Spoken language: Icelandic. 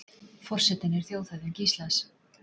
Forsetinn er þjóðhöfðingi Íslands.